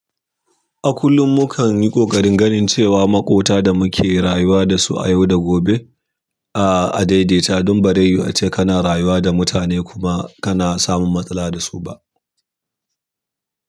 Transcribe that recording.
A kullum mu kan yi ƙoƙarin ganin cewa maƙota da muke rayuwa da su a yau da gobe a daidaita don bazai yu ace kana rayuwa da mutane kuma kana samun matsala da su ba.